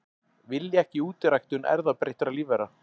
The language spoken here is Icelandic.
Vilja ekki útiræktun erfðabreyttra lífvera